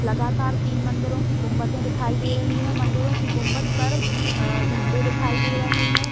लगातार तीन मंदिरों की गुंबदे दिखाई दे रही है मंदिरों की गुंबद पर अ झंडे दिखाई दे रहे हैं।